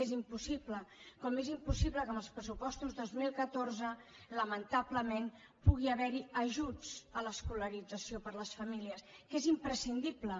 és impossible com és impossible que amb els pressupostos dos mil catorze lamentablement pugui haver hi ajuts a l’escolarització per a les famílies que és imprescindible